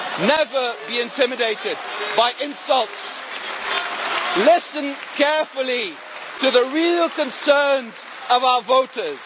Never be intimidated by insults. Listen carefully to the real concerns of our voters.